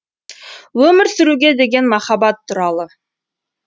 өмір сүруге деген махаббат туралы